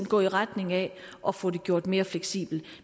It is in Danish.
gå i retning af at få det gjort mere fleksibelt